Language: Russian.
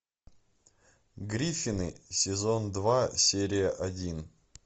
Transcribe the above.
гриффины сезон два серия один